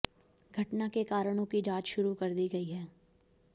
घटना के कारणों की जांच शुरू कर दी गई है